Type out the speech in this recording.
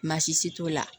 Baasi t'o la